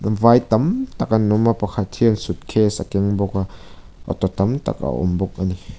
vai tam tak an awm a pakhat hian suitcase a keng bawk a auto tam tak a awm bawk a ni.